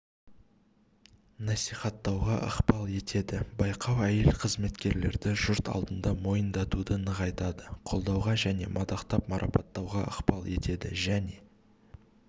насихаттауға ықпал етеді байқау әйел-қызметкерлерді жұрт алдында мойындатуды нығайтады қолдауға және мадақтап-марапаттауға ықпал етеді және